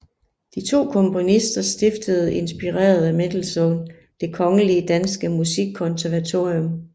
De to komponister stiftede inspireret af Mendelssohn Det Kongelige Danske Musikkonservatorium